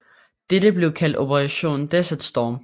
Dette blev kaldt Operation Desert Storm